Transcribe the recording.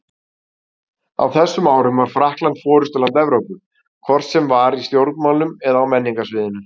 Á þessum árum var Frakkland forystuland Evrópu, hvort sem var í stjórnmálum eða á menningarsviðinu.